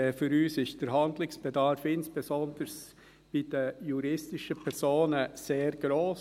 Für uns ist der Handlungsbedarf, insbesondere bei den juristischen Personen, sehr gross.